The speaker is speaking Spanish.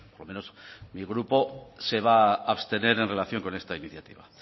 lo menos mi grupo se va a abstener en relación con esta iniciativa